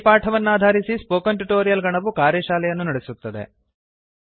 ಈ ಪಾಠವನ್ನಾಧರಿಸಿ spoken tutorial ನ ಗಣವು ಕಾರ್ಯಶಾಲೆಯನ್ನು ನಡೆಸುತ್ತದೆ